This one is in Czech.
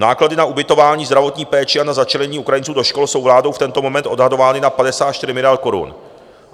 Náklady na ubytování, zdravotní péči a na začlenění Ukrajinců do škol jsou vládou v tento moment odhadovány na 54 miliard korun.